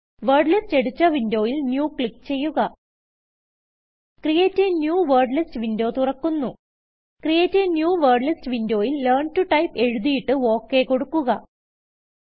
word list editor വിന്ഡോയിൽ NEWക്ലിക്ക് ചെയ്യുക ക്രിയേറ്റ് a ന്യൂ Wordlistവിന്ഡോ തുറക്കുന്നു ക്രിയേറ്റ് a ന്യൂ വേർഡ്ലിസ്റ്റ് വിന്ഡോയിൽ ലെയർൻ ടോ Typeഎഴുതിയിട്ട് ഒക് കൊടുക്കുക